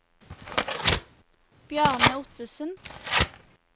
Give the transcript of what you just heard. Bjarne Ottesen